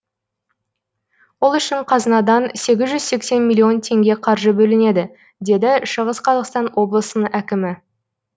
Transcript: ол үшін қазынадан сегіз жүз сексен миллион теңге қаржы бөлінеді деді шығыс қазақстан облысының әкімі